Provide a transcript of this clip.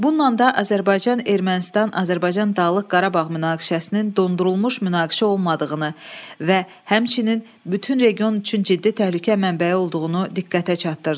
Bununla da Azərbaycan Ermənistan Azərbaycan Dağlıq Qarabağ münaqişəsinin dondurulmuş münaqişə olmadığını və həmçinin bütün region üçün ciddi təhlükə mənbəyi olduğunu diqqətə çatdırdı.